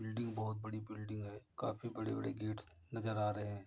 Building बहोत बड़ी building है। काफी बड़े बड़े गेट्स नजर आ रहे हैं।